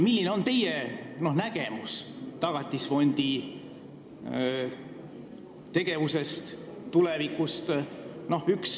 Milline on teie nägemus Tagatisfondi tegevusest tulevikus?